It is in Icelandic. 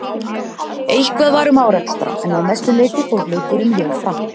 Eitthvað var um árekstra en að mestu leiti fór leikurinn vel fram.